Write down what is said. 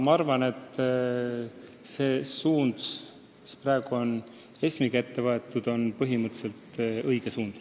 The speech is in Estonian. Ma arvan, et see suund, mida praegu ESM-iga hoitakse, on põhimõtteliselt õige suund.